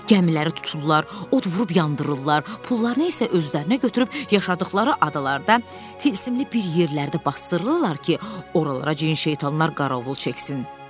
Gəmiləri tuturlar, od vurub yandırırlar, pullarını isə özlərinə götürüb yaşadıqları adalarda tılsımlı bir yerlərdə basdırırlar ki, oralara cin-şeytanlar qarovul çəksin.